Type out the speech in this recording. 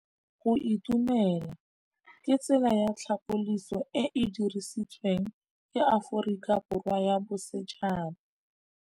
Go itumela ke tsela ya tlhapolisô e e dirisitsweng ke Aforika Borwa ya Bosetšhaba.